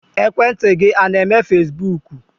Ekwentị gị a na-eme fesibuuku?